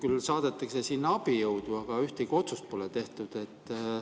Küll saadetakse sinna abijõudu, aga ühtegi otsust pole tehtud.